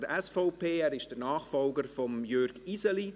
Er ist der Nachfolger von Jürg Iseli.